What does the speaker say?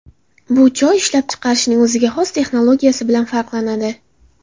Bu choy ishlab chiqarishning o‘ziga xos texnologiyasi bilan farqlanadi.